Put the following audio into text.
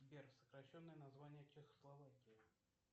сбер сокращенное название чехословакии